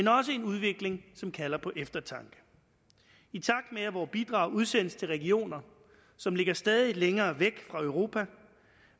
er også en udvikling som kalder på eftertanke i takt med at vore bidrag udsendes til regioner som ligger stadig længere væk fra europa